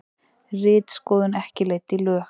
Ritskoðun ekki leidd í lög